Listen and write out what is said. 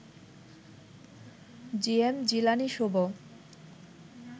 GM Jilani Shubho